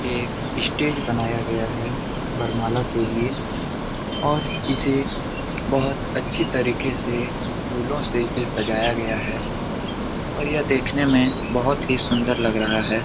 ये एक स्टेज बनाया गया है वरमाला के लिए और इसे बोहत अच्छी तरीके से फूलों से इसे सजाया गया है और यह देखने में बोहत ही सुंदर लग रहा है।